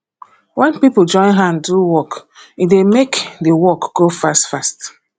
wen pipo join hand do work um e dey make um di work um go fastfast